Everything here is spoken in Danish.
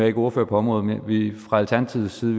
ikke ordfører på området men vi vil fra alternativets side